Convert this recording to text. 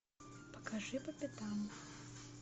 покажи по пятам